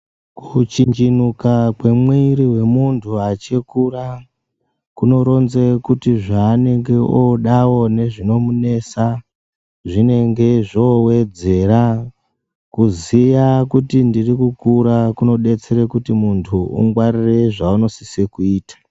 Kuchinjinuka kwemuwiri wemuntu achikura kunoronze kuti zvaanenge odawo nezvinomunetsa zvinenge zvowedzera kuziya kuti ndiri kukura kunodetsere kuti muntu ungwarire zvaunosise kuita.